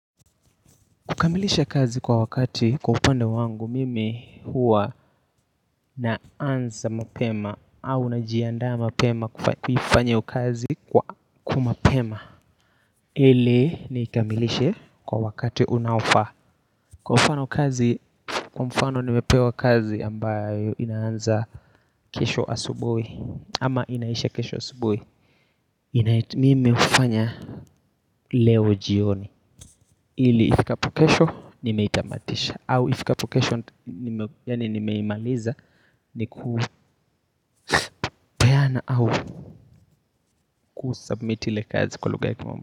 Kukamilisha kazi kwa wakati kwa upande wangu mimi hua naanza mapema au najianda mapema kufanya hiyo kazi kwa kwa mapema. Ili nikamilishe kwa wakati unaofa. Kwa mfano kazi, kwa mfano nimepewa kazi ambayo inaanza kesho asubuhi ama inaisha kesho asubuhi. Mimi ufanya leo jioni ili ifikapo kesho nimeitamadisha au ifikapokesho ni meimaliza ni kupeana au kusubmit ile kazi kwa luga ya kimomba.